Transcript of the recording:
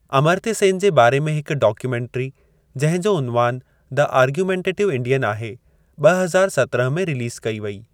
अमर्त्य सेन जे बारे में हिकु डॉक्युमेंट्री, जिंहिं जो उनवान द आर्गुमेंटेटिव इंडियन आहे, ॿ हज़ार सतरहं में रीलीज़ कई वेई।